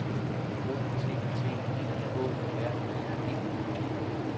O T T E Å R I G